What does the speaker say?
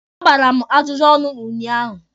A gbara m ajụjụ ọnụ ụnyaahụ.